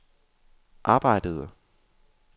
arbejdede